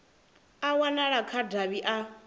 a wanala kha davhi a